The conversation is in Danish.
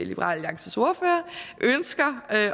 liberal alliances ordfører ønsker